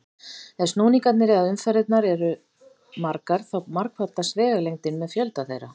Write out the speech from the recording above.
Ef snúningarnir eða umferðirnar eru margar þá margfaldast vegalengdin með fjölda þeirra.